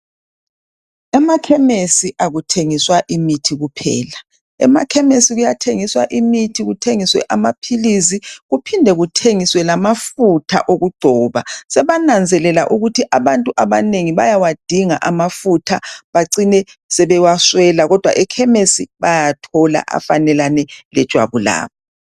Emakhemisi akuthengiswa imithi kuphela . Emakhemisi kuyathengiswa imithi, kuthengiswe amaphilisi kuphindwe kuthengiswe amafutha okugcoba . Sebananzelela ukuthi abantu abanengi bayawadinga amafutha bacine sebewaswela , kodwa ekhemisi bayawathola afanelane lejwabu labo.